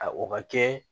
A o ka kɛ